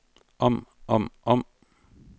om om om